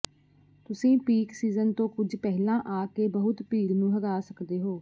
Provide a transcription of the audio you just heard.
ਤੁਸੀਂ peak season ਤੋਂ ਕੁਝ ਪਹਿਲਾਂ ਆ ਕੇ ਬਹੁਤ ਭੀੜ ਨੂੰ ਹਰਾ ਸਕਦੇ ਹੋ